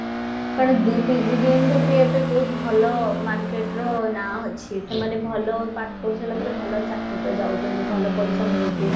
କାରଣ PGDM ବି ବହୁତ ଭଲ market ର ନା ଅଛି ସେମାନେ ଭଲ ପାଠ ପଢ଼ିସାରିଲା ପରେ ଭଲ ଚାକିରି ରେ ଯାଉଛନ୍ତି ଭଲ ପଇସା ମିଳଚି